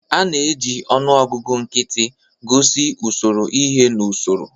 A na-eji ọnụọgụ nkịtị gosi usoro ihe n'usoro.